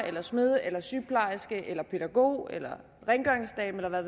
smed sygeplejerske pædagog eller rengøringsdame eller hvad